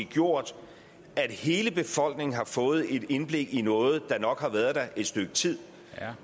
gjort at hele befolkningen har fået et indblik i noget der nok har været der et stykke tid